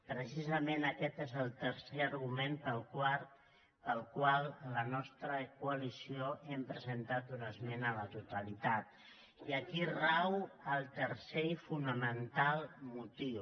precisament aquest és el tercer argument pel qual la nostra coalició hem presentat una esmena a la totalitat i aquí rau el tercer i fonamental motiu